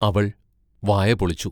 അവൾ വായ പൊളിച്ചു.